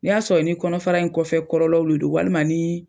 N'i y'a sɔrɔ ni kɔnɔfara in kɔfɛ kɔlɔlɔw de don walima nii